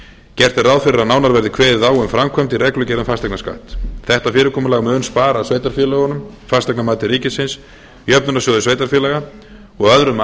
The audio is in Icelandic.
gert er ráð fyrir að nánar verði kveðið á um framkvæmd í reglugerð um fasteignaskatt þetta fyrirkomulag mun spara sveitarfélögunum fasteignamati ríkisins jöfnunarsjóði sveitarfélaga og öðrum